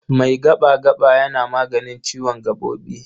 Mai gaɓa-gaɓa yana maganin ciwon gaɓoɓi.